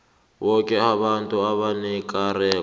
boke abantu abanekareko